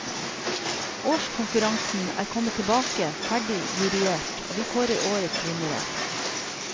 Årskonkurransen er kommet tilbake ferdig juryert, og vi kårer årets vinnere.